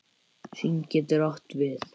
Sín getur átt við